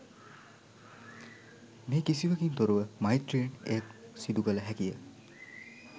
මේ කිසිවකින් තොරව මෛත්‍රියෙන් එය සිදු කළ හැකිය